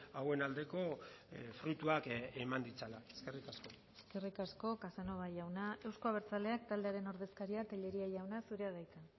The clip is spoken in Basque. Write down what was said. hauen aldeko fruituak eman ditzala eskerrik asko eskerrik asko casanova jauna euzko abertzaleak taldearen ordezkaria telleria jauna zurea da hitza